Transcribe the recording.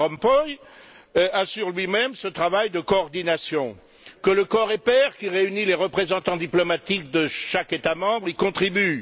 Van Rompuy, assure lui même ce travail de coordination, que le coreper, qui réunit les représentants diplomatiques de chaque État membre, y contribue.